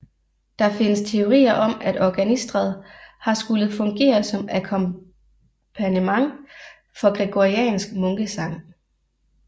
Der findes teorier om at organistret har skullet fungere som akkompagnement for gregoriansk munkesang